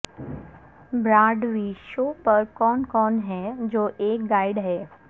Broadway show پر کون کون ہے جو ایک گائیڈ ہے